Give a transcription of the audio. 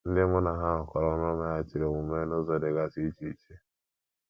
Ndị mụ na ha rụkọrọ ọrụ meghachiri omume n’ụzọ dịgasị iche iche.